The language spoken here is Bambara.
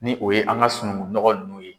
Ni o ye an ka sunungu nɔgɔ ninnu ye.